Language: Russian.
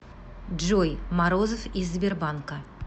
джой морозов из сбербанка